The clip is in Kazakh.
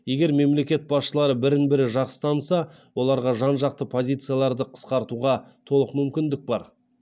егер мемлекет басшылары бірін бірі жақсы таныса оларға жан жақты позицияларды қысқартуға толық мүмкіндік бар